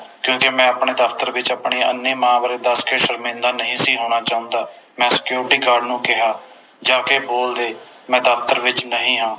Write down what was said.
ਕਿਉਕਿ ਮੈਂ ਆਪਣੇ ਦਫਤਰ ਵਿਚ ਆਪਣੀ ਅੰਨ੍ਹੀ ਮਾਂ ਬਾਰੇ ਦਸ ਕੇ ਸ਼ਰਮਿੰਦਾ ਨਹੀਂ ਸੀ ਹੋਣਾ ਚਾਹੁੰਦਾ ਮੈਂ Security Guard ਨੂੰ ਕਿਹਾ ਜਾਕੇ ਬੋਲ ਦੇ ਮੈਂ ਦਫਤਰ ਵਿਚ ਨਹੀਂ ਹਾਂ